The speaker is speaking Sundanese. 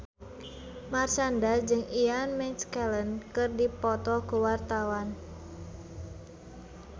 Marshanda jeung Ian McKellen keur dipoto ku wartawan